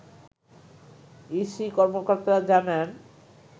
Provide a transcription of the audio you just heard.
EC কর্মকর্তারা জানান